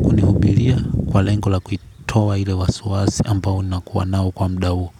kuni hubilia kwa lengo la kuitoa ile wasiwasi ambao nakuwa nao kwa mda huo.